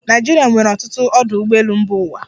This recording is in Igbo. Naịjirịa nwere ọtụtụ ọdụ ụgbọelu mba ụwa.